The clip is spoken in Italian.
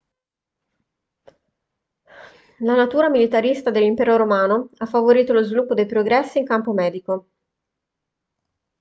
la natura militarista dell'impero romano ha favorito lo sviluppo dei progressi in campo medico